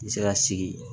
N bɛ se ka sigi